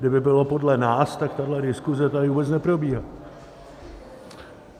Kdyby bylo podle nás, tak tahle diskuse tady vůbec neprobíhá.